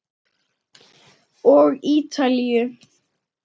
Og Ítalíu.